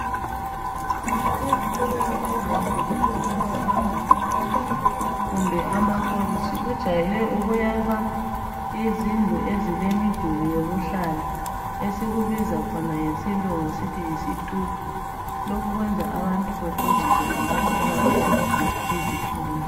Ezikolweni ezinkulu ezinjengama university kumbe amakolitshi kujayele ukuyakhwa izindlu ezilemiduli yokuhlala esikubiza khona ngesilungu sithi yisitubhu lokhu kwenza abantu bekwejise khonapho ikakhulu izifundi